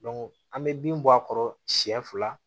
an bɛ bin bɔ a kɔrɔ siɲɛ fila